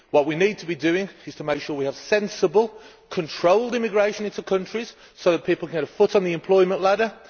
What we need to be doing is to make sure we have sensible, controlled immigration into countries so that people can get a foot on the employment ladder.